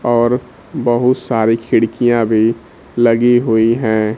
और बहुत सारी खिड़कियां भी लगी हुई है।